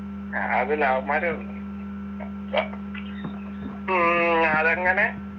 അതില്ല അവന്മാര് ഉം അതങ്ങനെ